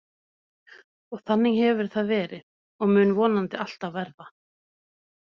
Og þannig hefur það verið og mun vonandi alltaf verða.